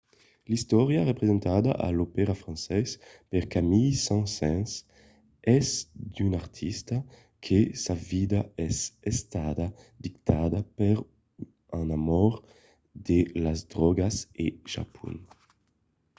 l'istòria presentada a l'opèra francés per camille saint-saëns es d'un artista que sa vida es estada dictada per un amor de las drògas e japon.